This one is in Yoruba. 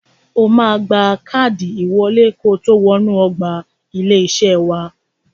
O máa gba káàdì ìwọlé kotó wọ inú ọgbà ilé-iṣé wa.